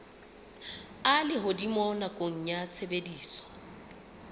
a lehodimo nakong ya tshebediso